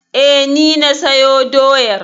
E, ni na sayo doyar.